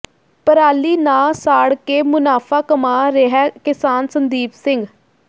ਪਰਾਲੀ ਨਾ ਸਾੜ ਕੇ ਮੁਨਾਫ਼ਾ ਕਮਾ ਰਿਹੈ ਕਿਸਾਨ ਸੰਦੀਪ ਸਿੰਘ